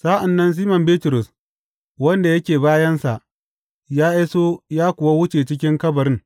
Sa’an nan Siman Bitrus, wanda yake bayansa, ya iso ya kuwa wuce cikin kabarin.